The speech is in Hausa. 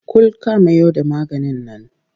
Kul ka amayo da maganin nan!